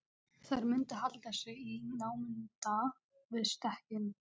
Þær mundu halda sig í námunda við stekkinn.